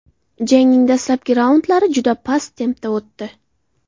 Jangning dastlabki raundlari juda past tempda o‘tdi.